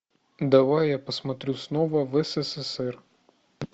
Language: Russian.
давай я посмотрю снова в ссср